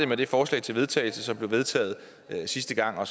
med det forslag til vedtagelse som blev vedtaget sidste gang og